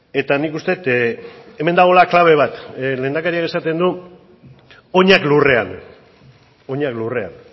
eta nik uste dut hemen dagoela klabe bat lehendakariak esaten du oinak lurrean oinak lurrean